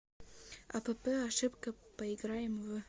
апп ошибка поиграем в